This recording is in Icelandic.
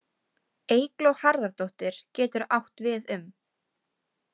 Eygló Harðardóttir getur átt við um.